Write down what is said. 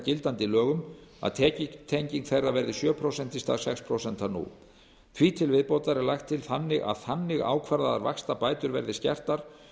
gildandi lögum að tekjutenging þeirra verði sjö prósent í stað sex prósent nú því til viðbótar er lagt til að þannig ákvarðaðar vaxtabætur verði síðan skertar